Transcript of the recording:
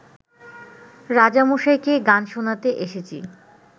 রাজামশাইকে গান শোনাতে এসেছি